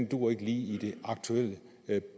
duer i det aktuelle